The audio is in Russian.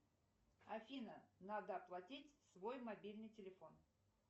афина надо оплатить свой мобильный телефон